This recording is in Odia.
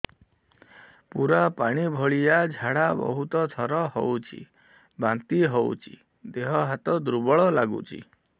ପୁରା ପାଣି ଭଳିଆ ଝାଡା ବହୁତ ଥର ହଉଛି ବାନ୍ତି ହଉଚି ଦେହ ହାତ ଦୁର୍ବଳ ଲାଗୁଚି